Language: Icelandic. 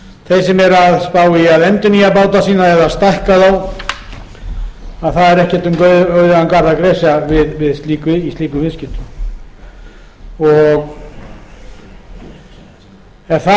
sem eru að spá í að endurnýja báta sína eða stækka þá það er ekki um auðugan garð að gresja í slíkum viðskiptum og er það